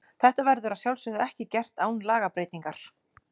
Þetta verður að sjálfsögðu ekki gert án lagabreytingar.